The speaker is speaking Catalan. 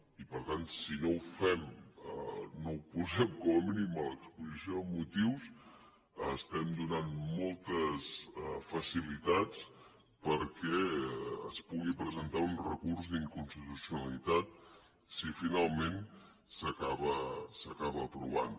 i per tant si no ho fem si no ho posem com a mínim a l’exposició de motius estem donant moltes facilitats perquè es pugui presentar un recurs d’inconstitucionalitat si finalment s’acaba aprovant